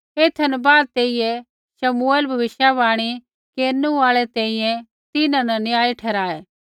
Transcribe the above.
एथा न बाद तेइयै शमुएल भविष्यवाणी केरनु आल़ा तैंईंयैं तिन्हां न न्यायी ठहराऐ